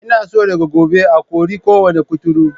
Ina son daga gobe a kori kowane kuturu.